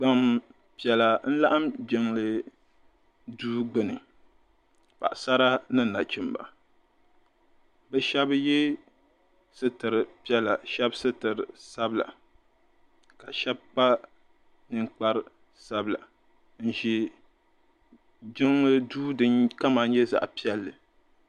Gbampiɛla n-laɣim jiŋli Duu gbuni paɣisara ni nachimba bɛ shɛba ye sitiri piɛla shɛba sitiri sabila ka shɛba kpa ninkpar'sabila n-ʒi jiŋli Duu din kama nyɛ zaɣ'piɛlli.